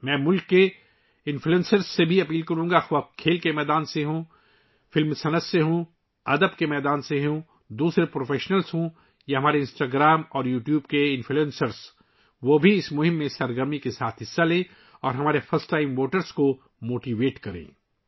میں ، ملک کے انفلوئنسسر سے بھی گزارش کروں گا، چاہے وہ کھیلوں کی دنیا سے ہوں، فلم انڈسٹری سے ہوں، ادب کی دنیا سے ہوں، دیگر پیشہ ور افراد ہوں یا ہمارے انسٹاگرام اور یوٹیوب کے انفلوئنسر ہوں ، وہ بھی اس مہم میں بڑھ چڑھ کر حصہ لیں اور ہمارے فرسٹ ٹائم ووٹرس کو موٹیویٹ کریں